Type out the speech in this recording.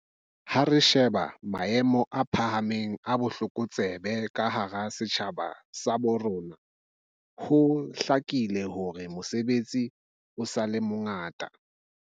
Ha re sheba maemo a phahameng a botlokotsebe ka hara setjhaba sa bo rona, ho hlakile hore mosebetsi o sa le mongata.